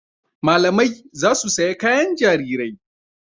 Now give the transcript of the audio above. Malamai za su saya kayan jarirai.